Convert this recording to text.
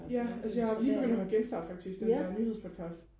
ja altså jeg har jo lige begyndt og høre genstart faktisk den der nyhedspodcast